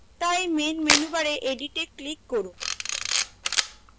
তাই main menu bar edit এ click করুন